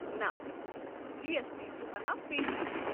نہ G S T چھُ ہنا پیچیدٕ ۔